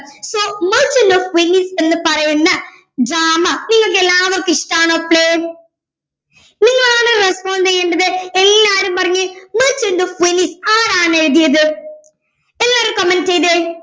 so merchant of venice എന്ന് പറയുന്ന drama നിങ്ങൾക്കെല്ലാവർക്കും ഇഷ്‌ടാണല്ലേ നിങ്ങളാണ് respond ചെയ്യേണ്ടത് എല്ലാരും പറഞ്ഞെ merchant of venice ആരാണ് എഴുതിയത് എല്ലാരും comment ചെയ്തേ